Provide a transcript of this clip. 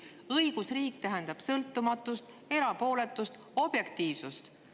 Õigusriik tähendab sõltumatust, erapooletust, objektiivsust.